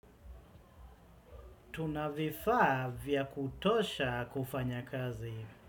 Tuna vifaa vya kutosha kufanya kazi.